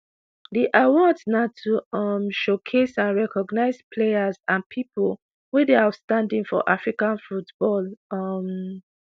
di awards na to um showcase and recognise players and pipo wey dey outstanding for african football. um